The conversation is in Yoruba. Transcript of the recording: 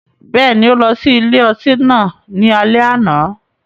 Bẹ́ẹ̀ni, o lọ si ile-ọti náà ni alẹ ana